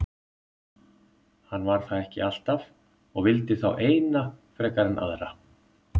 Hann var það ekki alltaf og vildi þá eina frekar en aðra.